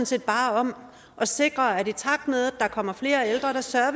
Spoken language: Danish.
set bare om at sikre at vi i takt med at der kommer flere ældre sørger